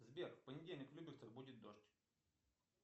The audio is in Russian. сбер в понедельник в люберцах будет дождь